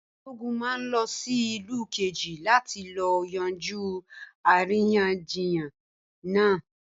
Balógun ma lọ sí ìlú Kejì láti lọ yanjú àríyànjiyàn náà